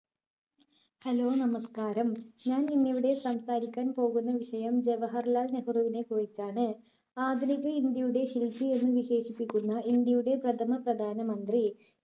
hello നമസ്കാരം ഞാനിന്നിവിടെ സംസാരിക്കാൻ പോകുന്ന വിഷയം ജവഹർലാൽ നെഹ്‌റുവിനെ കുറിച്ചാണ്. ആധുനിക ഇന്ത്യയുടെ ശില്പി എന്ന് വിശേഷിപ്പിക്കുന്ന ഇന്ത്യയുടെ പ്രഥമ പ്രധാന മന്ത്രി.